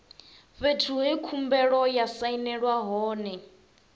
fhethu he khumbelo ya sainelwa hone